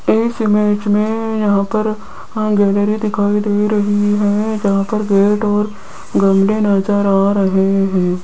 इस इमेज में यहां पर अह गैलरी दिखाई दे रही है जहां पर गेट और गंदे नजर आ रहे हैं।